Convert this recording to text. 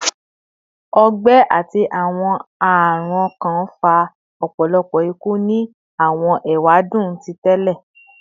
Ọgbẹ ati awọn arun ọkan fa ọpọlọpọ iku ni awọn ewadun ti tẹlẹ